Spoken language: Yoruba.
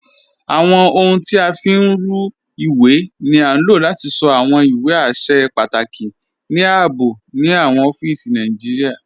Awọn ọhuń tí a fi ń rùn iwé ni á lò láti sọ́ awọn iwé àṣẹ̀ pàtàkì ní ààbò ni awọn ọ̀fíìsí Nàìjíríà.